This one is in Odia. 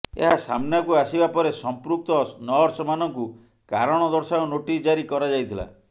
ଏହା ସାମ୍ନାକୁ ଆସିବା ପରେ ସଂପୃକ୍ତ ନର୍ସ ମାନଙ୍କୁ କାରଣ ଦର୍ଶାଅ ନୋଟିସ୍ ଜାରି କରାଯାଇଥିଲା